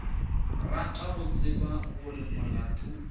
rata go tseba gore molato